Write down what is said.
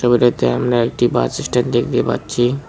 দূরেতে আমরা একটি bus stand দেখতে পাচ্ছি।